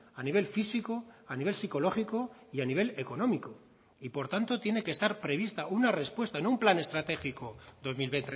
a nivel físico a nivel psicológico y a nivel económico y por tanto tiene que estar prevista una respuesta en un plan estratégico dos mil